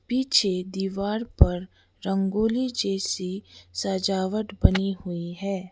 पीछे दीवार पर रंगोली जैसी सजावट बनी हुई है।